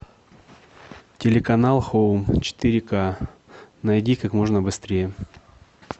телеканал хоум четыре ка найди как можно быстрее